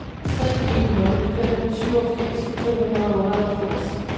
tre en nul fem syvogfirs to hundrede og otteoghalvfjerds